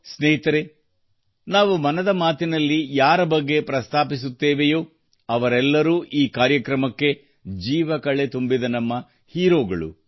ಸ್ನೇಹಿತರೇ ನಾವು ಮನದ ಮಾತಿನಲ್ಲಿ ಯಾರ ಬಗ್ಗೆ ಪ್ರಸ್ತಾಪಿಸುತ್ತೇವೆಯೋ ಅವರೆಲ್ಲರೂ ಈ ಕಾರ್ಯಕ್ರಮಕ್ಕೆ ಜೀವಕಳೆ ತುಂಬಿದ ನಮ್ಮ ಹೀರೋಗಳು